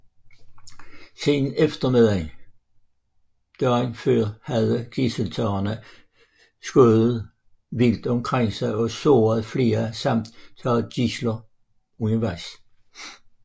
Siden eftermiddagen dagen før havde gidseltagerne skudt vildt omkring sig og såret flere samt taget gidsler undervejs